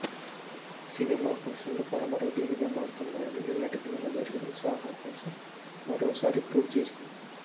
cinema function లు పరమరొటీన్ గా మారుతున్నాయి అని నిన్నటికి నిన్న జరిగిన సాహో ఫంక్షన్ మరోసారి ప్రూవ్ చేసింది